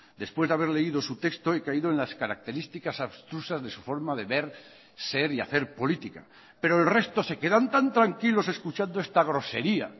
después de haber leído su texto he caído en las características abstrusas de su forma de ver ser y hacer política pero el resto se quedan tan tranquilos escuchando esta grosería